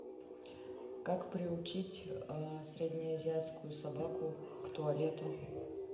как приучить среднеазиатскую собаку к туалету